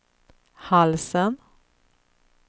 halsen